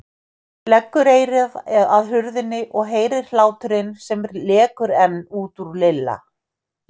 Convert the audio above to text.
Leggur eyrað að hurðinni og heyrir hláturinn sem lekur enn út úr Lilla.